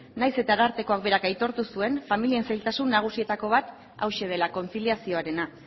nahiz eta arartekoak berak aitortu zuen familien zailtasun nagusietako bat hauxe dela kontziliazioarena